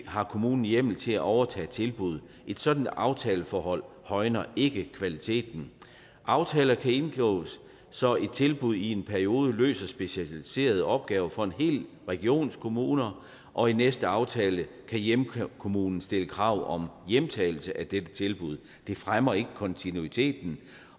har kommunen hjemmel til at overtage tilbuddet et sådant aftaleforhold højner ikke kvaliteten aftaler kan indgås så et tilbud i en periode løser specialiserede opgaver for en hel regions kommuner og i næste aftale kan hjemkommunen stille krav om hjemtagelse af dette tilbud det fremmer ikke kontinuiteten